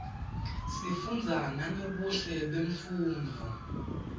sifunza nangebuhle bemnfundzo